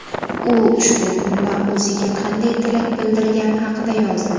U ushbu kunda o‘ziga qanday tilak bildirgani haqida yozdi.